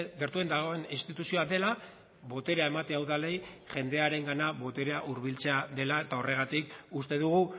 gertuen dagoen instituzioa dela boterea ematea udalei jendearengana boterea hurbiltzea dela eta horregatik uste dugu